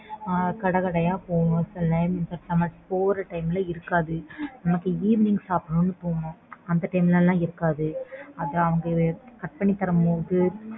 ஆஹ் கடை கடையா போணும். சில time நம்ம போற time ல இருக்காது. நமக்கு evening சாப்பிடணும்னு தோணும். அந்த time ல லாம் இருக்காது. அத அவங்க cut பண்ணி தரும் போது